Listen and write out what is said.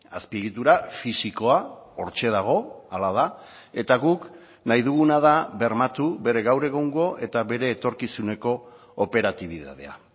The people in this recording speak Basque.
azpiegitura fisikoa hortxe dago hala da eta guk nahi duguna da bermatu bere gaur egungo eta bere etorkizuneko operatibitatea